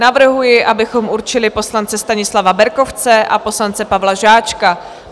Navrhuji, abychom určili poslance Stanislava Berkovce a poslance Pavla Žáčka.